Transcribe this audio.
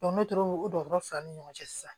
n'o tɛ o dɔgɔtɔrɔ fila ni ɲɔgɔn cɛ sisan